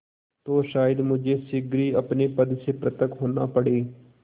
तो शायद मुझे शीघ्र ही अपने पद से पृथक होना पड़े